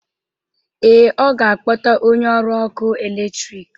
Ee, ọ ga-akpọta onye ọrụ ọkụ eletrik